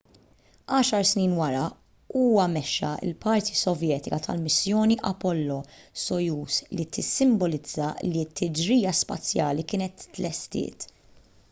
għaxar snin wara huwa mexxa l-parti sovjetika tal-missjoni apollo-soyuz li tissimbolizza li t-tiġrija spazjali kienet tlestiet